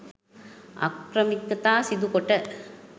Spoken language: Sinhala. අක්‍රමිකතා සිදුකොට